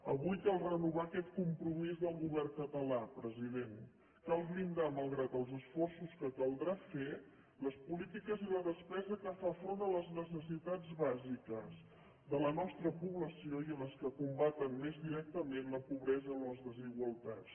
avui cal renovar aquest compromís del govern català president cal blindar malgrat els esforços que caldrà fer les polítiques i la despesa que fa front a les necessitats bàsiques de la nostra població i a les que combaten més directament la pobresa o les desigualtats